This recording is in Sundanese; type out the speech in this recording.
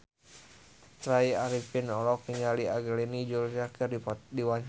Tya Arifin olohok ningali Angelina Jolie keur diwawancara